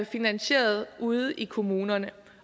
finansieret ude i kommunerne